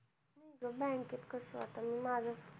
bank कस आता माझंच